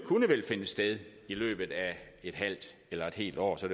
vel finde sted i løbet af et halvt eller et helt år så